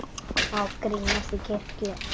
Má grínast í kirkju?